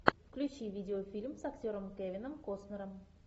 включи видеофильм с актером кевином костнером